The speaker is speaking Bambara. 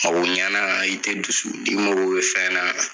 Mago ɲana i te dusu n'i mago be fɛn na